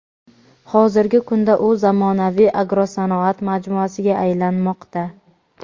Hozirgi kunda u zamonaviy agrosanoat majmuasiga aylanmoqda.